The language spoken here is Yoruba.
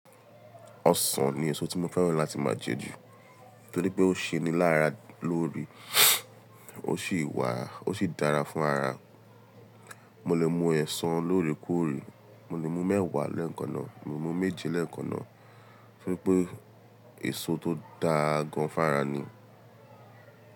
Ọsàn ni èso tí mo fẹ́ràn láti máa jẹ jù nítorí pé ó ṣe ní lára lórí, ó ṣì wà, ó ṣi dára fún ara. Mo lè mu ọsàn lóorèkóòrè, mo lè mu mẹ́wàá lẹ́ẹ̀kan náà, mo lè mu méje lẹ́ẹ̀kan náà, fún pé èso tó dáa gan fún ara ni.